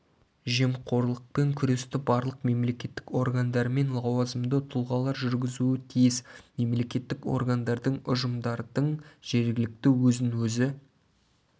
жемқорлықпен күресті барлық мемлекеттік органдар мен лауазымды тұлғалар жүргізуі тиіс мемлекеттік органдардың ұжымдардың жергілікті өзін-өзі